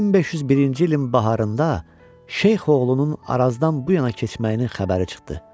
1501-ci ilin baharında Şeyxoğlunun Arazdan bu yana keçməyinin xəbəri çıxdı.